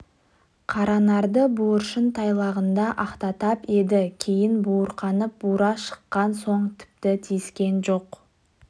қаранарды буыршын тайлағында ақтатпап еді кейін буырқанып бура шыққан соң тіпті тиіскен жоқ